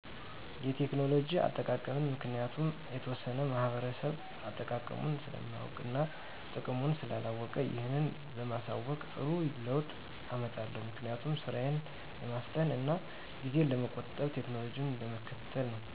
የቴክኖሎጂ አጠቃቀም ምክንያቱም የተወሠነ ማህበረሰብ አጠቃቀሙን ስለማያውቅ እና ጥቅሙን ስላላወቀ ይህን በማሣወቅ ጥሩ ለውጥ አመጣለሁ። ምክንያቱም፦ ስራን ለማፍጠን እና ጊዜን ለመቆጠብ ቴክኖሎጂን ለመከተል ነው።